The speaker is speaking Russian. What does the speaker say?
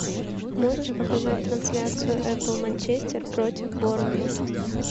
можешь показать трансляцию апл манчестер против борнмут